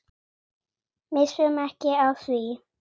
Missum ekki af því.